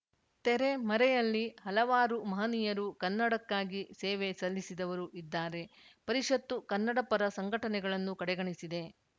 ತೆರೆ ಮರೆಯಲ್ಲಿ ಹಲವಾರು ಮಹನೀಯರು ಕನ್ನಡಕ್ಕಾಗಿ ಸೇವೆ ಸಲ್ಲಿಸಿದವರು ಇದ್ದಾರೆ ಪರಿಷತ್ತು ಕನ್ನಡಪರ ಸಂಘಟನೆಗಳನ್ನು ಕಡೆಗಣಿಸಿದೆ